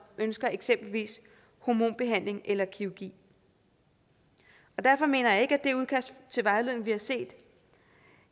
ønsker eksempelvis hormonbehandling eller kirurgi derfor mener jeg ikke at det udkast til vejledning vi har set